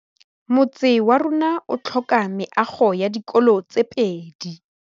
Motse warona o tlhoka meago ya dikolô tse pedi.